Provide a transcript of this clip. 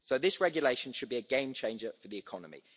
This regulation should be a game changer for the economy.